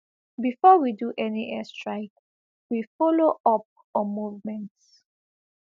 bifor we do any airstrike we follow up on movements